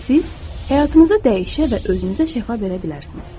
Siz həyatınızı dəyişə və özünüzə şəfa verə bilərsiniz.